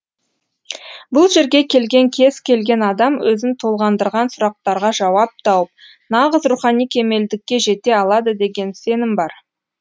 бұл жерге келген кез келген адам өзін толғандырған сурақтарға жауап тауып нағыз рухани кемелдікке жете алады деген сенім бар